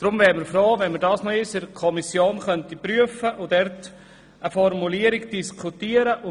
Deshalb wären wir froh, wenn die Kommission nochmals eine Prüfung vornehmen und eine Formulierung diskutieren würde.